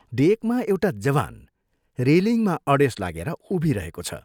डेकमा एउटा जवान रेलिङमा अडेस लागेर उभिरहेको छ।